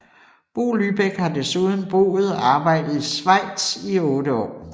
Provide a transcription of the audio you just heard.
Bo Lybæk har desuden boet og arbejdet i Schweiz i otte år